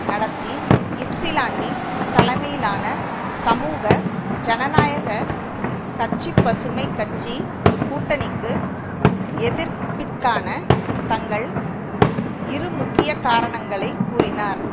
நடத்தி இப்சிலான்டி தலைமையிலான சமூக ஜனநாயக கட்சிபசுமை கட்சி கூட்டணிக்கு எதிர்ப்பிற்கான தங்கள் இரு முக்கிய காரணங்களை கூறினார்